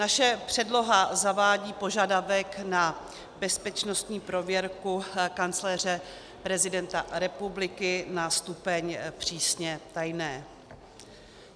Naše předloha zavádí požadavek na bezpečnostní prověrku kancléře prezidenta republiky na stupeň přísně tajné.